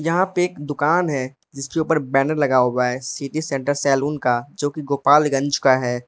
यहां पे एक दुकान है जिसके ऊपर बैनर लगा हुआ है सिटी सेंटर सैलून का जो कि गोपालगंज का है।